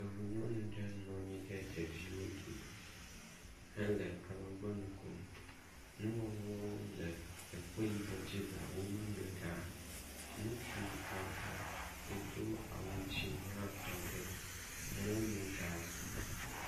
Yevunyɔnu aɖe nɔ anyi ɖe ɖeviwo dome hele alɔgbɔnu kom. Nu ŋɔŋlɔwo le ekpe yibɔ dzi le wo megbe ɖaa. Ŋutsu aɖe si do awu dzɛ̃ hã tɔ ɖe mɔnu ɖaa.